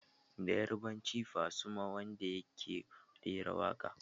Da yarbanci Fasuma Wonder yake rera waƙa.